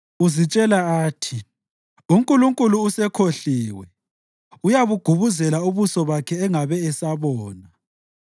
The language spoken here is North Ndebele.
Uzitshela athi, “UNkulunkulu usekhohliwe; uyabugubuzela ubuso bakhe angabe esabona.”